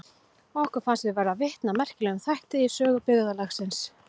Okkur fannst við verða vitni að merkilegum þætti í sögu byggðarlagsins.